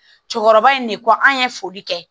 Cɛkɔrɔba in de ko an ye foli kɛ